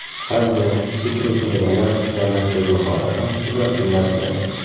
Sabzi, sitrus mevalar va makkajo‘xori ham shular jumlasidan.